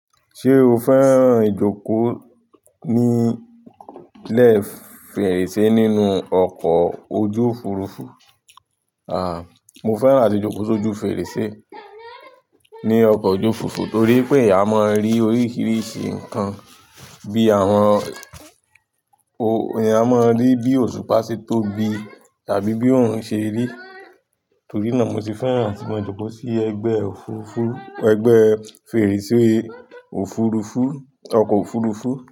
Ṣé o fẹ́ràn ìjókòó nílẹ̀ fèrèsé nínú ọkọ̀ ojú Òfurufú? Àà, mo fẹ́ràn àti jókòó sí ojú fèrèsé ní ọkọ̀ ojú Òfurufú torí pé a mọ̀ rí oríṣiríṣi nkan bí àwọn o-- a mọ̀ rí bí òṣùpá ṣe tóbi tàbí bí òrun ṣe rí, torí náà mo sì fẹ́ràn atí mo jókòó sí ẹgbẹ́ òfurufú, ẹgbẹ́ fèrèsé òfurufú, ọkọ̀ òfurufú.